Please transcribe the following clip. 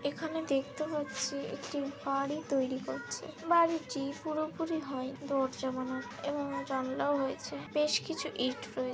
এখানে দেখতে পাচ্ছি একটি বাড়ি তৈরি করছে বাড়ি টি-ই পুরোপুরি হয়নি দরজা বানা এবং জানলাও হয়েছে বেশ কিছু ইট রয়ে-- ।